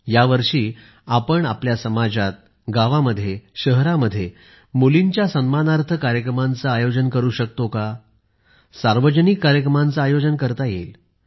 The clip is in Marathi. यावर्षी आपण आपल्या समाजात गावांमध्ये शहरांमध्ये मुलींच्या सन्मानार्थ कार्यक्रमांचे आयोजन करू शकतो का सार्वजनिक कार्यक्रमांचे आयोजन करता येईल